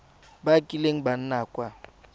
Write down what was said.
ba kileng ba nna kwa